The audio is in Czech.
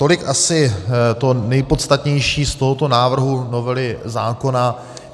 Tolik asi to nejpodstatnější z tohoto návrhu novely zákona.